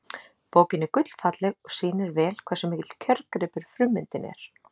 Bókin er gullfalleg og sýnir vel hversu mikill kjörgripur frummyndin er.